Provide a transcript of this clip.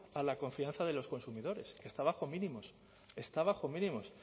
a la confianza de los consumidores que está bajo mínimos está bajo mínimos